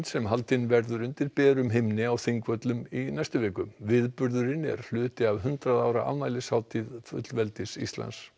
sem haldinn verður undir berum himni á Þingvöllum í næstu viku viðburðurinn er hluti af hundrað ára afmælishátíð fullveldis Íslands